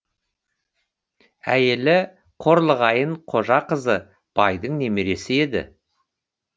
әйелі қорлығайын қожақызы байдың немересі еді